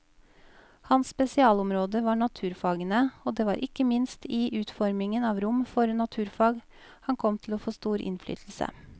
Hans spesialområde var naturfagene, og det var ikke minst i utformingen av rom for naturfag han kom til å få stor innflytelse.